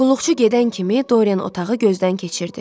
Qulluqçu gedən kimi Dorian otağı gözdən keçirdi.